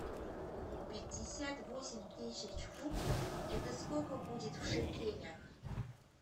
пятьдесят восемь тысяч фунтов это сколько будет в шекелях